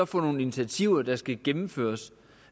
for nogle initiativer der skal gennemføres